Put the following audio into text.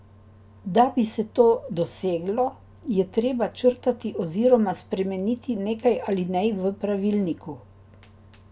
Da bi se to doseglo, je treba črtati oziroma spremeniti nekaj alinej v pravilniku.